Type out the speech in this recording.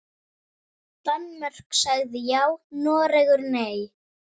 Danmörk sagði já, Noregur nei.